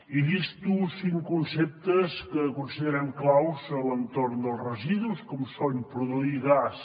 i llisto cinc conceptes que considerem claus a l’entorn dels residus com són produir gas